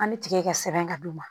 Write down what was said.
An bɛ tigɛ ka sɛbɛn ka d'u ma